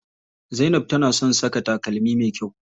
Zainab tana son saka takalmi me kyau.